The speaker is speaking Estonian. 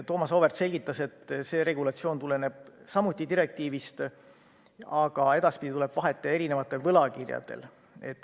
Thomas Auväärt selgitas, et see regulatsioon tuleneb samuti direktiivist, aga edaspidi tuleb vahet teha eri võlakirjadel.